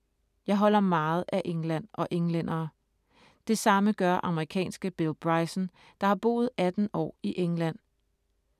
Jeg holder meget af England og englændere. Det samme gør amerikanske Bill Bryson, der har boet 18 år i England.